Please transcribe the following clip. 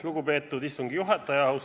Lugupeetud istungi juhataja!